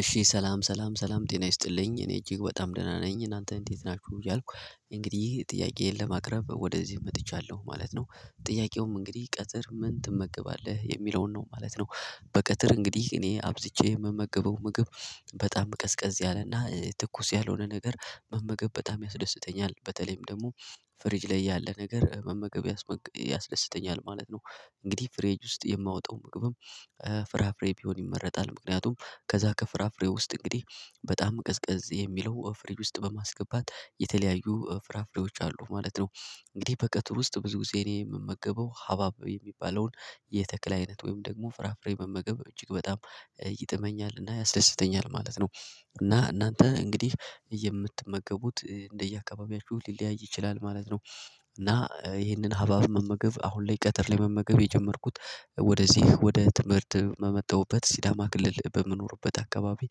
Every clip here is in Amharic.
እሺ ሰላም ሰላም ሰላም ጤና ይስጥልኝ እኔ እጅግ በጣም ደህና ነኝ እናንተ እንዴት ናችሁ እያልኩ እንግዲህ ጥያቄዬን ለማቅረብ ወደዚህ መጥቻለሁ ማለት ነው ጥያቄውም እንግዲህ ቀትር ምን ትመገባለህ የሚለውን ነው ማለት ነው። በቀትር እንግዲህ እኔ አብዝቼ የምመግበው ምግብ በጣም ቀዝቀዝ ያለና ትኩስ ያልሆነ ነገር መመገብ በጣም ያስደስተኛል በተለይም ደግሞ ፍሪጅ ላይ ያለ ነገር መመገብ ያስደስተኛል ማለት ነው። እንግዲህ ፍሪጅ ውስጥ የማወጣው ምግብም ፍራፍሬ ቢሆን ይመረጣል ምክንያቱም ከዛ ከፍራፍሬ ውስጥ እንግዲህ በጣም ቀዝቀዝ የሚለው ፍሪጅ ውስጥ በማስገባት የተለያዩ ፍራፍሬዎች አሉ ማለት ነው። እንግዲህ በቀትር ውስጥ ብዙ ጊዜ እኔ የምመገበው ሀባብ የሚባለውን የተክል አይነት ወይም ደግሞ ፍራፍሬ መመገብ እጅግ በጣም ይጥመኛልና ያስደስተኛል ማለት ነው። እና እናንተ እንግዲህ የምትመገቡት እንደ የአካባቢያችሁ ሊለያይ ይችላል ማለት ነው። እና ይሄንን ሀባብ መመገብ አሁን ላይ ቀትር ላይ መመገብ የጀመርኩት ወደዚህ ወደ ትምህርት በመጣሁበት ሲዳማ ክልል በምኖርበት አካባቢ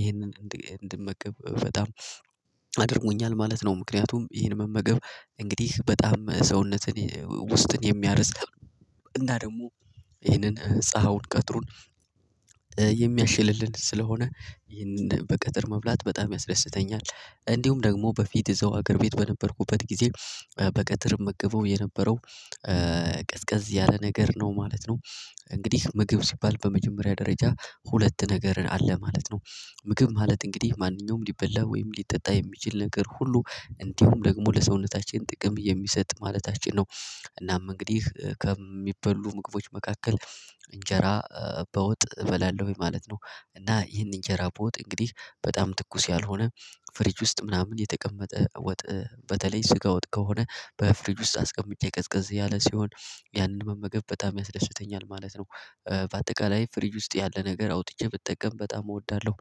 ይህንን እንድመገብ በጣም አድርጎኛል ማለት ነው ምክንያቱም ይሄን መመገብ እንግዲህ በጣም ሰውነትን ውስጥን የሚያርስ እና ደግሞ ይህንን ፀሀዩን ቀትሩን የሚያሽልልን ስለሆነ ይህንን በቀትር መብላት በጣም ያስደስተኛል እንዲሁም ደግሞ በፊት እዛው ሀገር ቤት በነበርኩበት ጊዜ በቀትር እመገበው የነበረው ቀዝቀዝ ያለ ነገር ነው ማለት ነው። እንግዲህ ምግብ ሲባል በመጀመሪያ ደረጃ ሁለት ነገር አለ ማለት ነው። ምግብ ማለት እንግዲህ ማንኛውም ሊበላ ወይም ሊጠጣ የሚችል ነገር ሁሉ እንዲሁም ደግሞ ለሰውነታችን ጥቅም የሚሰጥ ማለታችን ነው። እናም እንግዲህ ከሚበሉ ምግቦች መካከል እንጀራ በወጥ እበላለሁ ማለት ነው። እና ይህን እንጀራ በወጥ እንግዲህ በጣም ትኩስ ያልሆነ ፍሪጅ ውስጥ ምናምን የተቀመጠ ወጥ በተለይ ስጋ ወጥ ከሆነ በፍሪጅ ውስጥ አስቀምጬ ቀዝቀዝ ያለ ሲሆን ያንን መመገብ በጣም ያስደስተኛል ማለት ነው። በአጠቃላይ ፍሪጅ ውስጥ ያለ ነገር አውጥቼ ብጠቀም በጣም እወዳለሁ።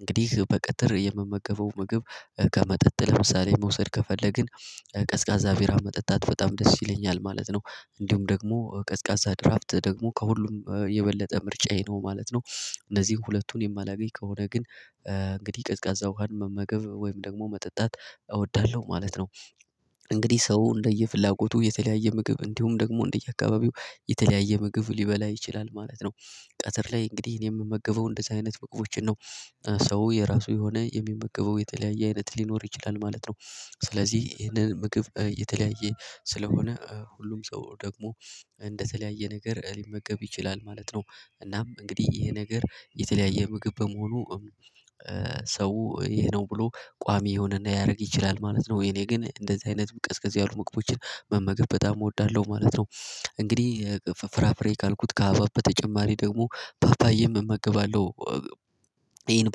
እንግዲህ በቀጥር የምመገበው ምግብ ከመጠጥ ለምሳሌ መውሰድ ከፈለግን ቀዝቃዛ ቢራ መጠጣት በጣም ደስ ይለኛል ማለት ነው። እንዲሁም ደግሞ ቀዝቃዛ ድራፍት ደግሞ ከሁሉም የበለጠ ምርጫዬ ነው ማለት ነው። እነዚህን ሁለቱን የማላገኝ ከሆነ ግን እንግዲህ ቀዝቃዛ ውሃን መመገብ ወይም ደግሞ መጠጣት እወዳለሁ ማለት ነው። እንግዲህ ሰው እንደየፍላጎቱ የተለያየ ምግብ እንዲሁም ደግሞ እንደየአካባቢው የተለያየ ምግብ ሊበላ ይችላል ማለት ነው። ቀትር ላይ እንግዲህ እኔ የምመገበው እንደዚህ አይነት ምግቦችን ነው። ሰው የራሱ የሆነ የሚመገበው የተለያየ አይነት ሊኖር ይችላል ማለት ነው። ስለዚህ ይሄንን ምግብ የተለያየ ስለሆነ ሁሉም ሰው ደግሞ እንደተለያየ ነገር ሊመገብ ይችላል ማለት ነው። እናም እንግዲህ ይሄ ነገር የተለያየ ምግብ በመሆኑ ሰው ይሄ ነው ብሎ ቋሚ ይሆንና ያደርግ ይችላል ማለት ነው የኔ ግን እንደዚህ አይነት ቀዝቀዝ ያሉ ምግቦችን መመገብ በጣም እወዳለሁ ማለት ነው። እንግዲህ ፍራፍሬ ካልኩት ከሃባብ በተጨማሪ ደግሞ ፓፓዬም እመገባለሁ። ይህን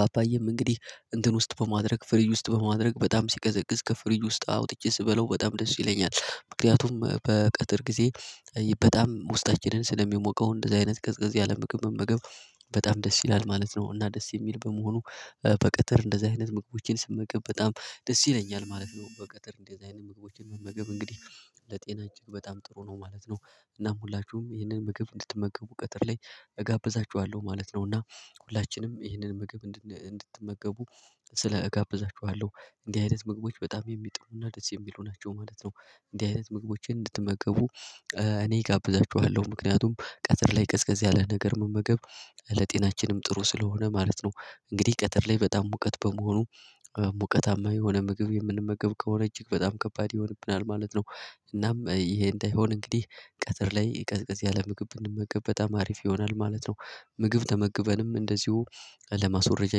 ፓፓዬም እንግዲህ እንትን ውስጥ በማድረግ ፍሪጅ ውስጥ በማድረግ በጣም ሲቀዘቅዝ ከፍሪጅ ውስጥ አውጥቼ ስበለው በጣም ደስ ይለኛል ምክንያቱም በቀትር ጊዜ በጣም ውስጣችንን ስለሚያሞቀው እንደዚህ አይነት ቀዝቀዝ ያለ ምምብ መመገብ በጣም ደስ ይላል ማለት ነው። እና ደስ የሚል በመሆኑ በቀትር እንደዚህ አይነት ምግቦችን ስመገብ በጣም ደስ ይለኛል ማለት ነው። በቀትር እንደዚህ አይነት ምግቦችን መመገብ እንግዲህ ለጤና እጅግ በጣም ጥሩ ነው ማለት ነው። እናም ሁላችሁም ይህንን ምግብ እንድትመገቡ ቀትር ላይ እጋብዛችኋለሁ ማለት ነው። እና ሁላችንም ይህንን ምግብ እንድትመገቡ ስለ እጋብዛችኋለሁ እንዲህ አይነት ምግቦች በጣም የሚጥሙና ደስ የሚሉ ናቸው ማለት ነው። እንዲህ አይነት ምግቦችን እንድትመገቡ እኔ እጋብዛችኋለሁ ምክንያቱም ቀትር ላይ ቀዝቀዝ ያለ ነገር መመገብ ለጤናችንም ጥሩ ስለሆነ ማለት ነው። እንግዲህ ቀትር ላይ በጣም ሙቀት በመሆኑ ሙቀታማ የሆነ ምግብ የምንመገብ ከሆነ እጅግ በጣም ከባድ ይሆንብናል ማለት ነው። እናም ይሄ እንዳይሆን እንግዲህ ቀትር ላይ ቀዝቅዝ ያለ ምግብ ብንመገብ በጣም አሪፍ ይሆናል ማለት ነው። ምግብ ተመግበንም እንደዚሁ ለማስወረጃ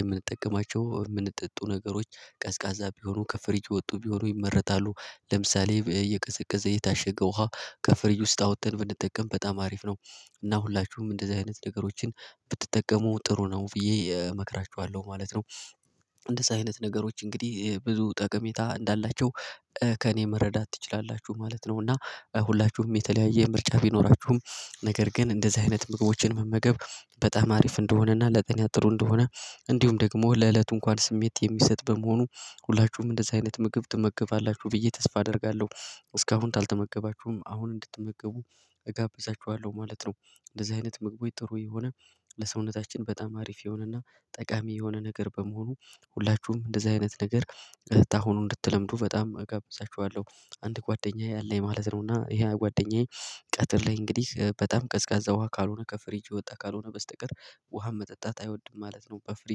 የምንጠቀማቸው የሚጠጡ ነገሮች ቀዝቃዛ ቢሆኑ ከፍሪጅ የወጡ ቢሆኑ ይመጣሉ ለምሳሌ የቀዘቀዘ የታሸገ ውሃ ከፍሪጅ ውስጥ አውጥተን ብንጠቀም በጣም አሪፍ ነው። እና ሁላችሁም እንደዚህ አይነት ነገሮችን ብትጠቀሙ ጥሩ ነው ብዬ እመክራችኋለሁ ማለት ነው። እንደዛ አይነት ነገሮች እንግዲህ ብዙ ጠቀሜታ እንዳላቸው ከእኔ መረዳት ትችላላችሁ ማለት ነው። እና ሁላችሁም የተለያየ ምርጫ ቢኖራችሁም ነገር ግን እንደዚህ አይነት ምግቦችን መመገብ በጣም አሪፍ እንደሆነና ለጤና ጥሩ እንደሆነ እንዲሁም ደግሞ ለእለቱ እንኳን ስሜት የሚሰጥ በመሆኑ ሁላችሁም እንደዚህ አይነት ምግብ ትመገባላችሁ ብዬ ተስፋ አደርጋለሁ። እስካሁን ካልተመገባችሁም አሁን እንድትመገቡ እጋብዛችኋለሁ ማለት ነው። እንደዚህ አይነት ምግቦች ጥሩ የሆነ ለሰውነታችን በጣም አሪፍ የሆነና ጠቃሚ የሆነ ነገር በመሆኑ ሁላችሁም እንደዚህ አይነት ነገር ከአሁኑ እንድትለምዱ በጣም እገብዛችኋለሁ። አንድ ጓደኛዬ አለኝ ማለት ነውና ይሄ ጓደኛዬ ቀትር ላይ እንግዲህ በጣም ቀዝቃዛ ውሃ ካልሆነ ከፍሪጅ የወጣ ካልሆነ በስተቀር ውሃን መጠጣት አይወድም ማለት ነው በፍሪጅ